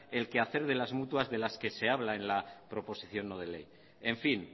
el quehacer de las mutuas que se habla en la proposición no de ley en fin